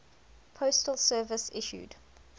postal service issued